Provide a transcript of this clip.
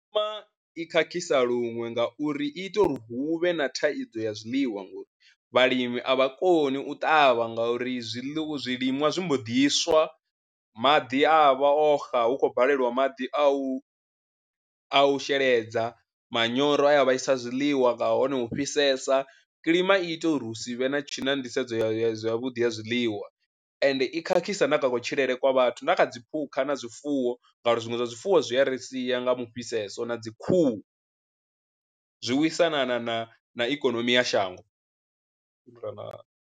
I khakhisa luṅwe ngauri i ita uri hu vhe na thaidzo ya zwiḽiwa ngori vhalimi a vha koni u ṱavha ngauri zwiḽiwa zwiliṅwa zwi mbo ḓi swa maḓi a vha o xa hu khou baleliwa maḓi a u a u sheledza, manyoro a ya vhaisa zwiḽiwa nga hone u fhisesa. Kiḽima i ita uri hu si vhe na tshi na nḓisedzo ya ya zwa vhuḓi ya zwiḽiwa ende i khakhisa na kha kutshilele kwa vhathu na kha dziphukha na zwifuwo ngauri zwiṅwe zwa zwifuwo zwi a ri sia nga mu fhisesa na dzi khuhu, zwi lwisana na na ikonomi ya shango.